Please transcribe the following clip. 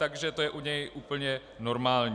Takže to je u něj úplně normální.